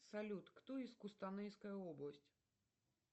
салют кто из кустанайская область